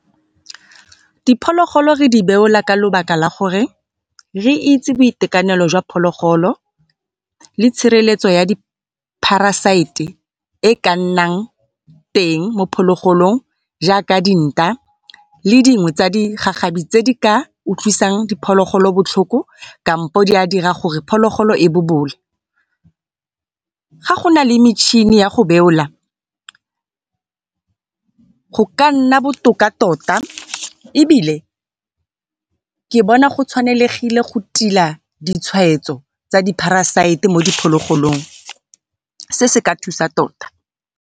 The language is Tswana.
Diphologolo re di beola ka lebaka la gore re itse boitekanelo jwa phologolo le tshireletso ya di-parasite e ka nnang teng mo phologolong jaaka dinta le dingwe tsa digagabi tse di ka utlwisang diphologolo botlhoko, kampo di a dira gore phologolo e bobole. Ga go nale metšhini ya go beola go ka nna botoka tota ebile ke bona go tshwanegile go tila ditshwaetso tsa di-parasite mo diphologolong, se se ka thusa tota.